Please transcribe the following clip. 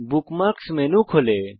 bookmarks menu খোলে